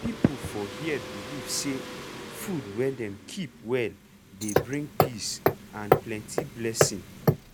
people for here believe say food wey dem keep well dey bring peace and plenty blessing.